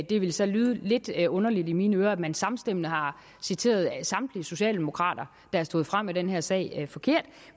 det vil så lyde lidt lidt underligt i mine ører at man samstemmende har citeret samtlige socialdemokrater der er stået frem i den her sag forkert